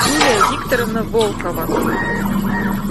юлия викторовна волкова